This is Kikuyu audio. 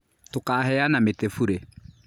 Tũkaheana mĩtĩ burĩ.